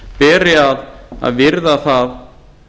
fjárlaganefndinni beri að virða það